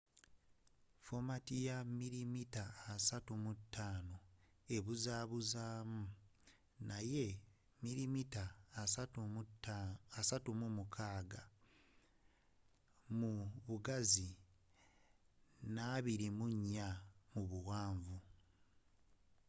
fomati eya mili mita asattu mu taano ebuzabuzamu n'eya mili mita asatu mu mukaga mu bugazi n'abili mu nya 24 mu buwanvu